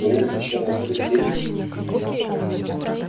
прежде чем наступит кризис